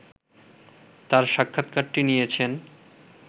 তাঁর সাক্ষাৎকারটি নিয়েছেন